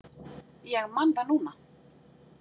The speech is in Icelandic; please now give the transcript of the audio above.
Ég man það núna.